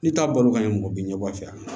N'i t'a balo ka ɲɛ mɔgɔ bɛ ɲɛbɔ a fɛ